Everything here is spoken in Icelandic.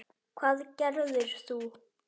Hvað gerðir þú?